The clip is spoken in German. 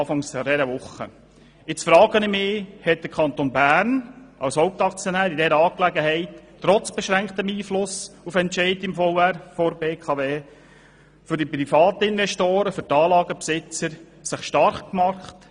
Ich frage mich nun, ob sich der Kanton Bern in dieser Angelegenheit trotz seines beschränkten Einflusses auf Entscheide des VR der BKW für die Anlagenbesitzer stark macht.